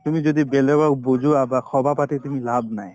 তুমি যদি বেলেগক বুজোৱা বা সভা পাতি তুমি লাভ নাই